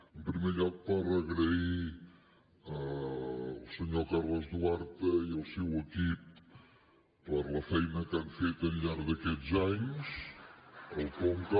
en primer lloc per agrair al senyor carles duarte i el seu equip la feina que han fet al llarg d’aquests anys al conca